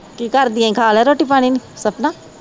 ਕੀ ਕਰਦੀ ਹੈਂ, ਖਾ ਲਿਆ ਰੋਟੀ ਪਾਣਿ ਸਪਨਾ